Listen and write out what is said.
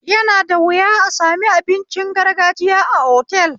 Yana da wuya a sami abincin gargajiya a otal